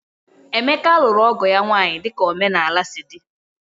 Emeka lụrụ ọgo ya nwaanyị dika omenala sị di